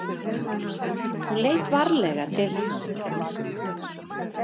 Hún leit varlega til hans.